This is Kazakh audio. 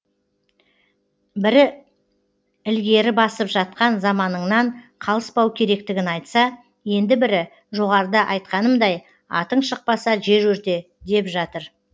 бірі ілгері басып жатқан заманныңнан қалыспау керектігін айтса енді бірі жоғарыда айтқанымдай атың шықпаса жер өрте деп жатыр